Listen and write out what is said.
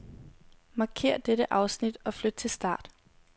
Markér dette afsnit og flyt til start.